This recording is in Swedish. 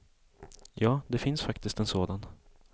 Ja, det finns faktiskt en sådan.